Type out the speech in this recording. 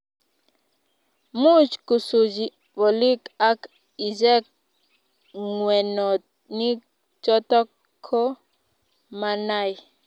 much kusuchi bolik ak ichek ng'wenonik choto ko manai